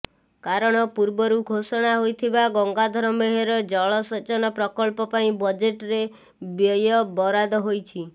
କାରଣ ପୂର୍ବରୁ ଘୋଷଣା ହୋଇଥିବା ଗଙ୍ଗାଧର ମେହେର ଜଳ ସେଚନ ପ୍ରକଳ୍ପ ପାଇଁ ବଜେଟରେ ବ୍ୟୟବରାଦ ହୋଇଛି